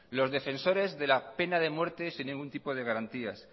los defensores de la pena de muerte sin ningún tipo de garantías